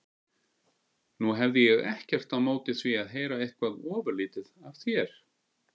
Nú hefði ég ekkert á móti því að heyra eitthvað ofurlítið af þér.